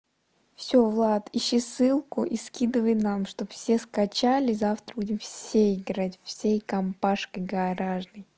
всё влад ищи ссылку и скидывай нам чтобы все скачали завтра будем все играть всей компашкой гаражной